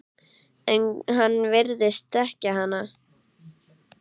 En hann virðist þekkja hana.